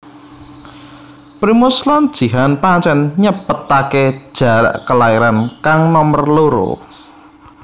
Primus lan Jihan pancén nyepetaké jarak kelairan kang nomer loro